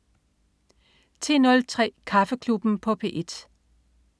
10.03 Kaffeklubben på P1